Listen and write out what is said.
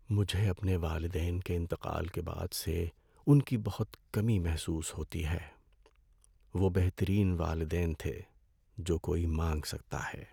مجھے اپنے والدین کے انتقال کے بعد سے ان کی بہت کمی محسوس ہوتی ہے۔ وہ بہترین والدین تھے جو کوئی مانگ سکتا ہے۔